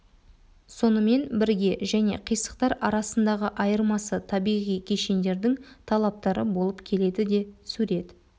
сонымен бірге және қисықтар арасындағы айырмасы табиғи кешендердің талаптары болып келеді де сурет